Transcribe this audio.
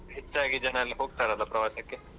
ಹೆಚ್ಚಾಗಿ ಜನ ಎಲ್ಲ ಹೋಗ್ತಾರಲ್ಲ ಪ್ರವಾಸಕ್ಕೆ.